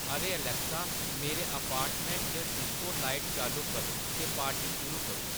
अरे एलैक्सा मेरे अपार्टमेंट च डिस्को लाइट चालू करो ते पार्टी शुरू करो